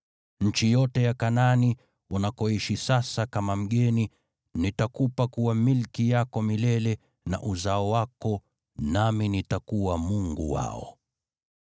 Nchi yote ya Kanaani, unakoishi sasa kama mgeni, nitakupa kuwa milki yako milele, na uzao wako, nami nitakuwa Mungu wao.”